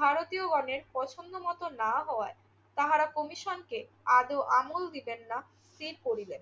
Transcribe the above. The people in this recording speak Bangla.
ভারতীয়গণের পছন্দমত না হওয়ায় তাহারা কমিশনকে আদৌ আমল দিবেন না স্থির করিলেন।